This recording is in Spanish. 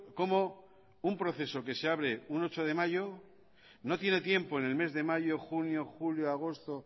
cómo un proceso que se abre un ocho de mayo no tiene tiempo en el mes de mayo junio julio agosto